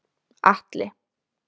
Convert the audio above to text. Atli